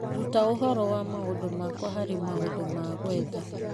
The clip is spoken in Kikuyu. Ruta ũhoro wa maũndũ makwa harĩ maũndũ ma gwetha.